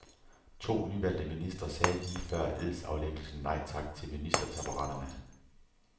To nyvalgte ministre sagde lige før edsaflæggelsen nej tak til ministertaburetterne.